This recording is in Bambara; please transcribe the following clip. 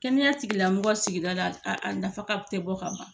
Kɛnɛya tigila mɔgɔ sigidala a nafa te bɔ fɔ ka ban